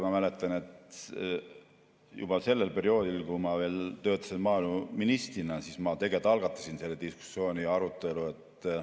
Ma mäletan, et juba sellel perioodil, kui ma veel töötasin maaeluministrina, ma algatasin selle diskussiooni ja arutelu.